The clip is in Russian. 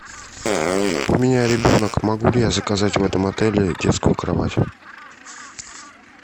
у меня ребенок могу ли я заказать в этом отеле детскую кровать